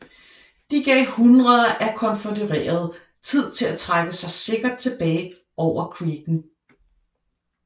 De gav hundreder af konfødererede tid til at trække sig sikkert tilbage over creeken